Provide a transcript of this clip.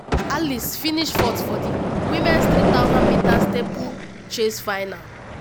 alice finish 4th for di women’s 3000m steeplechase final.